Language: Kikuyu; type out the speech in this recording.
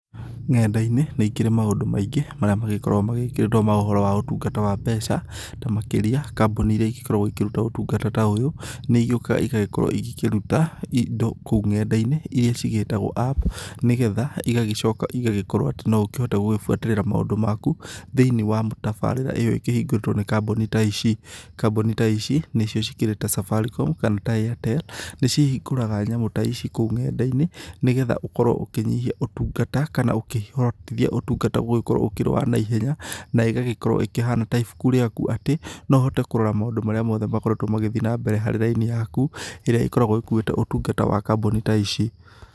Ng'enda-inĩ nĩikĩrĩ maũndũ maingĩ marĩa magĩkoragwo magĩkĩrĩtwo ma ũhoro wa ũtungata wa mbeca, ta makĩria kambuni irĩa ikoragwo ikĩruta ũtungata ta ũyũ, nĩigĩũkaga igagĩkorwo cikĩruta indo kũu ng'enda-inĩ irĩa cigĩtagwo app, nĩgetha igagĩcoka ĩgagĩkorwo atĩ no ũkĩhote gũkĩbuatĩrĩra maũndũ maku thĩiniĩ wa tabarĩra ta ĩyo ĩhingũrĩtwo nĩ kambuni ta ici. Kambuni ta ici nĩcio cikĩrĩ ta Safaricom kana ta Airtel, nĩcihingũraga nyamũ ta ici ng'enda-inĩ, nĩgetha ũkorwo ũkĩnyihia ũtungata kana ũkĩhotithia ũtungata gũgĩkorwo ũkĩrĩ wa naihenya na ĩgagĩkorwo ĩkĩhana ta ibuku rĩaku, atĩ no ũhote kũrora maũndũ maku mothe marĩa makoretwo magĩthiĩ na mbere harĩ raini yaku ĩrĩa ĩkoragwo ĩkuĩte ũtungata wa kamboni ta ici.